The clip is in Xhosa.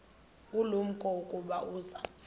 ulumko ukuba uza